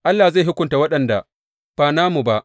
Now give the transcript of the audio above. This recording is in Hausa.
Allah zai hukunta waɗanda ba namu ba.